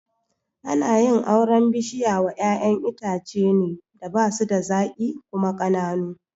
Ana yin auren bishiya wa ƴaƴan itace ne da basu da zaƙi kuma ƙananu